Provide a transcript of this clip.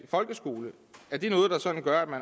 folkeskolen